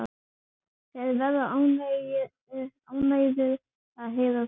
Þeir verða ánægðir að heyra það.